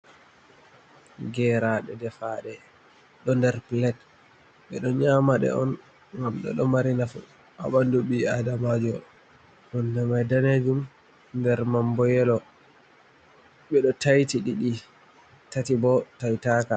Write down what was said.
Geeraaɗe defaaɗe ɗo nder pilet, ɓe ɗo nyaamaɗe on ngam ɗe ɗo mari nafu haa ɓanndu ɓii aadamaajo, hunnde mai daneejum nder mam boo yelo, ɓe ɗo tayti ɗiɗi, tati boo taytaaka.